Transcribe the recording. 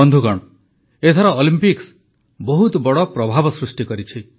ବନ୍ଧୁଗଣ ଏଥର ଅଲମ୍ପିକ୍ସ ବହୁତ ବଡ଼ ପ୍ରଭାବ ସୃଷ୍ଟି କରିଛି